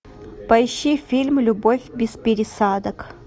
поищи фильм любовь без пересадок